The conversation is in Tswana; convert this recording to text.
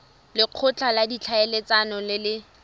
lekgotla la ditlhaeletsano le le